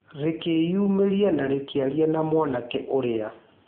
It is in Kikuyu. Rĩkĩyumĩria na rĩkĩaria na mwanake ũrĩa.